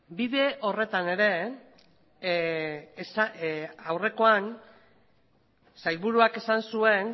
bide horretan ere aurrekoan sailburuak esan zuen